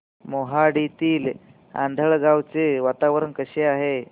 मोहाडीतील आंधळगाव चे वातावरण कसे आहे